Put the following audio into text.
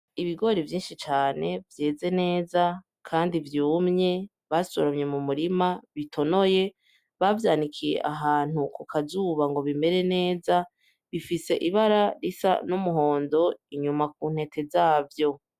Ibigori vyinshi cane vyeze neza kandi vyumye basoromye mu murima ,bitonoye , bavyanikiye ahantu ku kazuba ngo bimere neza bifise ibara risa n’umuhondo inyuma ku ntete zavyo.